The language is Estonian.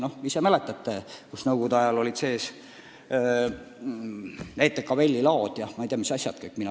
Küllap te mäletate, et nõukogude ajal olid kirikutes ETKVL-i laod ja ma ei tea mis asjad kõik veel.